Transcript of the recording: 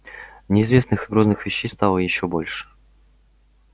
неизвестных и грозных вещей стало ещё больше